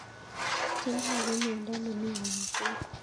Schindler ko miondo ne mii konyil somok